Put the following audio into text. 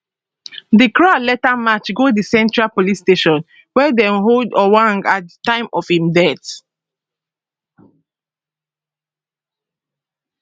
di crowd later march go di central police station wia dem hold ojwang at di time of im death